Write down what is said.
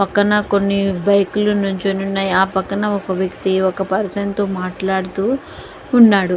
పక్కన కొన్ని బైకులు నించునే ఉన్నాయి. ఆ పక్కన ఒక వ్యక్తి ఒక పర్సన్ తో మాట్లాడుతు ఉన్నాడు.